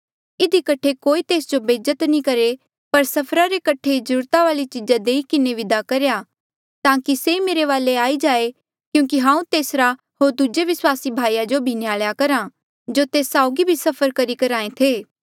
इधी कठे कोई तेस जो बेज्जत नी करहे पर सफरा रे कठे जरूरत वाली चीजा देई किन्हें विदा करेया ताकि से मेरे वाले आई जाए क्यूंकि हांऊँ तेसरा होर दूजे विस्वासी भाईया जो भी न्हयाल्या करहा जो तेस साउगी सफर करी करहा ऐ थे